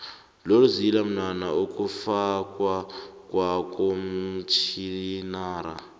lolzila mnwana ikufakwa kwakomtjhinara